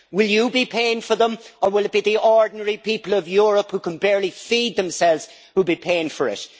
Will you be paying for them, or will it be the ordinary people of Europe who can barely feed themselves who will be paying for it?